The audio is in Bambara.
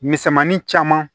Misɛnmanin caman